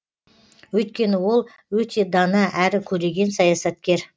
өйткені ол өте дана әрі көреген саясаткер